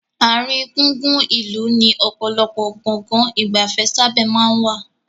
Àárín gùngùn ìlú ni ọ̀pọ̀lọpọ̀ Gbọ̀ngán ìgbafẹ́ sábà maa n wà